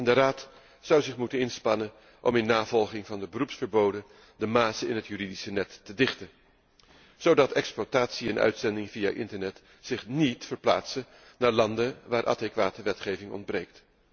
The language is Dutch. De Raad zou zich moeten inspannen om, in navolging van de beroepsverboden, de mazen in het juridische net te dichten, zodat exploitatie en uitzending via internet zich niet verplaatsen naar landen waar adequate wetgeving ontbreekt.